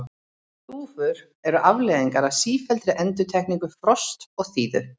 þúfur eru afleiðing af sífelldri endurtekningu frosts og þíðu